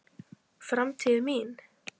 Framtíðin mín?